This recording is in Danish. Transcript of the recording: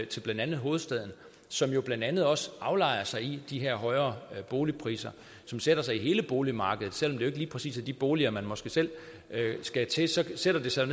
til blandt andet hovedstaden som jo blandt andet også aflejrer sig i de her højere boligpriser som sætter sig i hele boligmarkedet og selv det ikke lige præcis er de boliger man måske selv skal til så sætter det sig